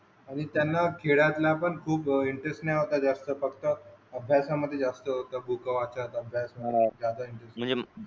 आणि त्यांना खेळतला पण जास्त इंटरेस्ट नव्हता फक्त अभ्यासा मध्ये जास्त होता बूक वाचा.